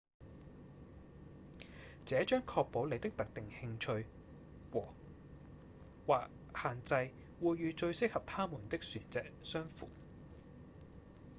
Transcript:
這將確保您的特定興趣和/或限制會與最適合它們的船隻相符